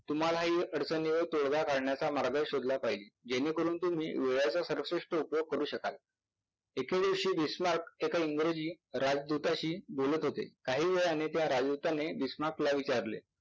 तुम्हालाही अडचणीवर तोडगा काढण्याचा मार्ग शोधला पाहिजे जेणेकरून तुम्ही वेळाचा सर्वश्रेष्ठ उपयोग करू शकाल. एके दिवशी बिश्नात एका इंग्रजी राजदुताशी बोलत होते. काही वेळाने त्या राजदूताने बिश्नातला विचारले